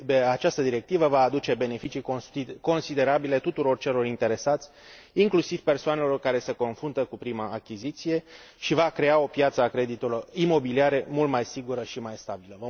Această directivă va aduce beneficii considerabile tuturor celor interesați, inclusiv persoanelor care se confruntă cu prima achiziție și va crea o piață a creditelor imobiliare mult mai sigură și mai stabilă.